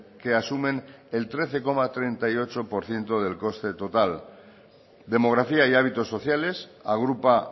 que asumen el trece coma treinta y ocho por ciento del coste total demografía y hábitos sociales agrupa